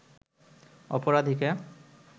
অপরাধীকে